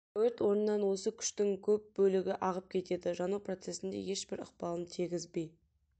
өрт орнынан осы күштің көп бөлігі ағып кетеді жану процесіне ешбір ықпалын тигізбей